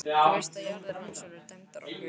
Þú veist að jarðir hans voru dæmdar okkur!